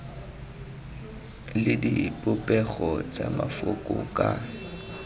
le dipopego tsa mafoko ka